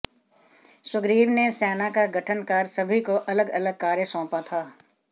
सुग्रीव ने सेना का गठन कर सभी को अलग अलग कार्य सौंपा था